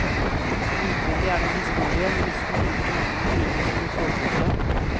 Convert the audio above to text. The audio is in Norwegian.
Utvendig er det en historie med nesten like mange intriger som en såpeopera.